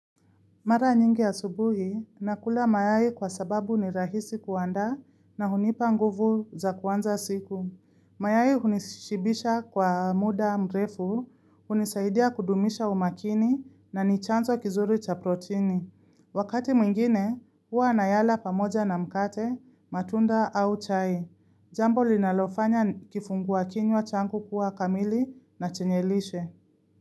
Mara nyingi asubuhi, nakula mayai kwa sababu ni rahisi kuanda na hunipa nguvu za kwanza siku. Mayai hunishibisha kwa muda mrefu, hunisaidia kudumisha umakini na nichanzo kizuri cha proteini. Wakati mwingine, huwa nayala pamoja na mkate, matunda au chai. Jambo linalofanya kifungua kinywa changu kuwa kamili na chenye lishe.